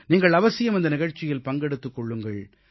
நீங்கள் அவசியம் இந்த நிகழ்ச்சியில் பங்கெடுத்துக் கொள்ளுங்கள்